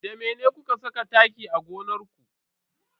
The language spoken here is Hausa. Da mene kuka saka taki a gonar ku?